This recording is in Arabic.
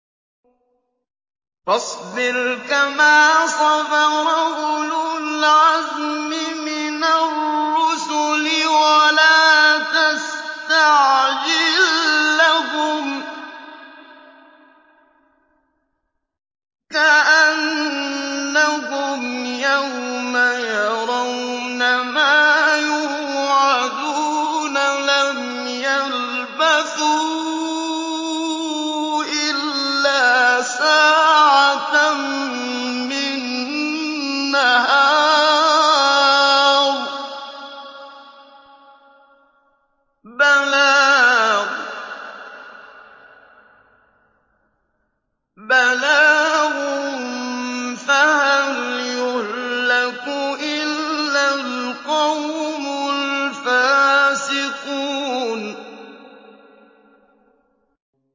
فَاصْبِرْ كَمَا صَبَرَ أُولُو الْعَزْمِ مِنَ الرُّسُلِ وَلَا تَسْتَعْجِل لَّهُمْ ۚ كَأَنَّهُمْ يَوْمَ يَرَوْنَ مَا يُوعَدُونَ لَمْ يَلْبَثُوا إِلَّا سَاعَةً مِّن نَّهَارٍ ۚ بَلَاغٌ ۚ فَهَلْ يُهْلَكُ إِلَّا الْقَوْمُ الْفَاسِقُونَ